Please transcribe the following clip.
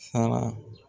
Sara